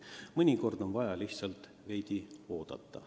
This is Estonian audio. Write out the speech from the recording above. Mõnikord on vaja lihtsalt veidi oodata.